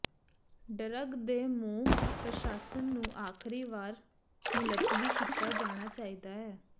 drug ਦੇ ਮੂੰਹ ਪ੍ਰਸ਼ਾਸਨ ਨੂੰ ਆਖਰੀ ਵਾਰ ਮੁਲਤਵੀ ਕੀਤਾ ਜਾਣਾ ਚਾਹੀਦਾ ਹੈ